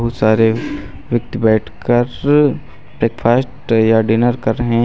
सारे व्यक्ति बैठ कर ब्रेकफास्ट या डिनर कर रहे हैं।